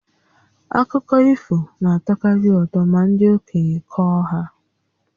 Akụkọ ifo na-atọkarị ụtọ ma ndị okenye kọọ ha